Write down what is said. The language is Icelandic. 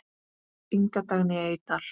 Inga Dagný Eydal.